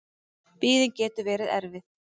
Biðin getur verið erfið.